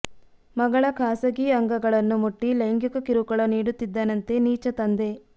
ಮಗಳ ಖಾಸಗಿ ಅಂಗಗಳನ್ನು ಮುಟ್ಟಿ ಲೈಂಗಿಕ ಕಿರುಕುಳ ನೀಡುತ್ತಿದ್ದನಂತೆ ನೀಚ ತಂದೆ